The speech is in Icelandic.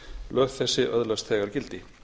lög þessi öðlast þegar gildi